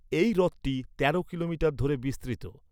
এই হ্রদটি তেরো কিলোমিটার কিলোমিটার ধরে বিস্তৃত।